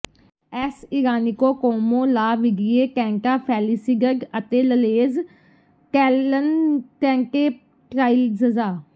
S ਇਰਾਨਿਕੋ ਕੋਂਮੋ ਲਾ ਵਿਡਿੇ ਟੈਂਟਾ ਫੈਲਿਸਿਡਡ ਅਤੇ ਲਲੇਜ ਟੈਲੈਨ ਟੈਂਟੇ ਟ੍ਰਾਈਜਜ਼ਾ